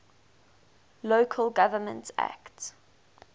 local government act